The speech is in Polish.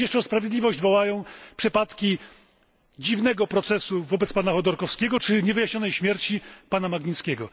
A przecież jeszcze o sprawiedliwość wołają przypadki dziwnego procesu wobec pana Chodorkowskiego czy niewyjaśnionej śmierci pana Magnickiego.